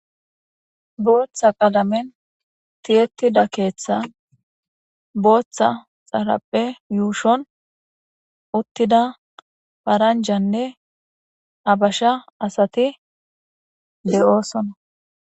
Booththa qalamen tiyettida keeththa booththa xarappe yuushon uttida paranjanne abasha asati de'oosona.